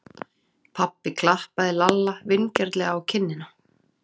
Pabbi klappaði Lalla vingjarnlega á kinnina.